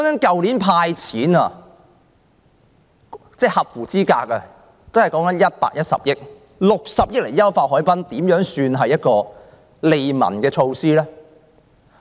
去年"派錢"給所有合資格市民也只用了110億元，現在政府卻用60億元優化海濱，這算是甚麼利民措施？